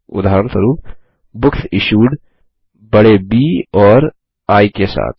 उदाहरणस्वरुप बुकसिश्यूड बड़े ब और आई के साथ